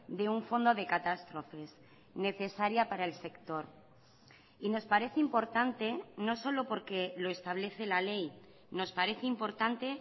de un fondo de catástrofes necesaria para el sector y nos parece importante no solo porque lo establece la ley nos parece importante